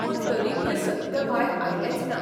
पूण तरिकय सत्य भायर आयलेंच ना.